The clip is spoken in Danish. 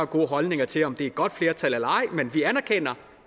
gode holdninger til om det et godt flertal eller ej men vi anerkender